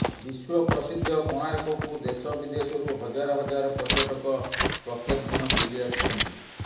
ବିଶ୍ବପ୍ରସିଦ୍ଧ କୋଣାର୍କକୁ ଦେଶ ବିଦେଶରୁ ହଜାର ହଜାର ପର୍ଯ୍ୟଟକ ପ୍ରତ୍ୟେକ ଦିନ ବୁଲି ଆସିଥାନ୍ତି